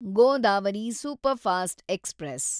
Godavari superfast express